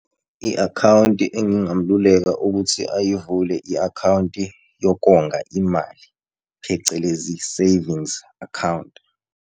I-akhawunti engingamluleka ukuthi ayivule i-akhawunti yokonga imali phecelezi, savings account.